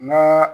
N'a